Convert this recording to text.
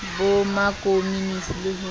ba ma komonisi le ho